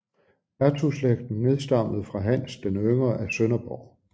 Hertugslægten nedstammede fra Hans den yngre af Sønderborg